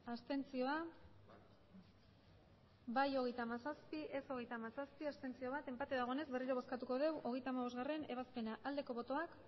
abstenzioak emandako botoak hirurogeita hamabost bai hogeita hamazazpi ez hogeita hamazazpi abstentzioak bat enpate dagoenez berriro bozkatuko dugu hogeita hamabostgarrena ebazpena aldeko botoak